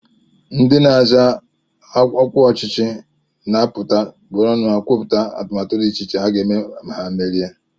Ndị na-azọ ọkwa ọchịchị na-apụta bịa were ọnụ ha kwupụta atụmatụ dị iche iche ha ga-eme ma ha merie